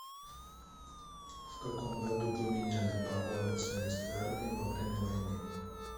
в каком году поменяли погоны в советской армии во время войны